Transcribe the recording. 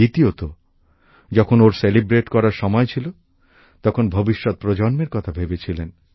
দ্বিতীয়ত ওঁর যখন উদযাপন করার সময় ছিল তখন তিনি ভবিষ্যত প্রজন্মের কথা ভেবেছিলেন